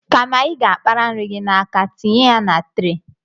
Kama ị ga-abara nri gị n’aka tinye ya na tre